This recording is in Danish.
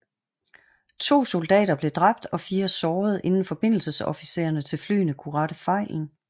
To soldater blev dræbt og 4 såret inden forbindelsesofficererne til flyene kunne rette fejlen